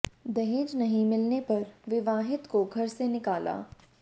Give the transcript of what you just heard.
दहेज नहीं मिलने पर विवाहिता को घर से निकाला